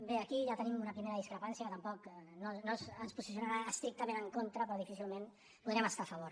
bé aquí ja tenim una primera dis·crepància que tampoc ens posicionarà estrictament en contra però difícilment hi podrem estar a favor